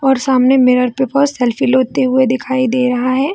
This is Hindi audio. और सामने मिरर पे वो सेल्फी लेते हुए दिखाई दे रहा है।